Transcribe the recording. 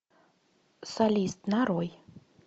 солист нарой